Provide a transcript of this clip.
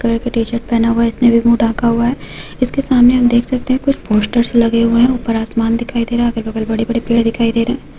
Colour का T-shirt पहना हुआ हे इसने मूह ढाका हुआ हे। इसके सामने हम देख सकते हे कुछ पोस्टर्स लगे हुए हैं ऊपर आसमान दिखाई दे रहा हे अगल बगल बड़े बड़े पेड़ दिखाई दे रहे हे।